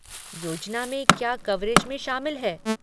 योजना में क्या कवरेज में शामिल है?